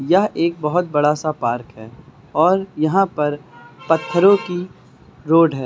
यह एक बहोत बड़ा सा पार्क है और यहां पर पत्थरों की रोड है।